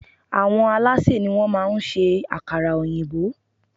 Àwọn alásè ni wón má a ń ṣe ákárà òyìnbó